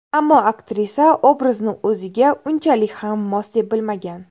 Ammo aktrisa obrazni o‘ziga unchalik ham mos deb bilmagan.